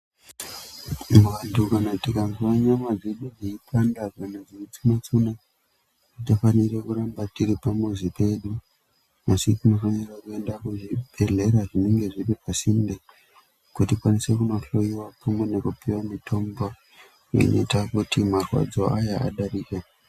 Vantu tikazwa nyama dzedu dzeipanda kana dzeitsunya tsunya atifanira kuramba tiri pamuzi pedu tinofanira kuenda pazvibhedhlera zvinenge zviri pasinde tikwanise kuhloiwa pamwe nekupiwa mutombo inoita kuti marwadzo awa adarike.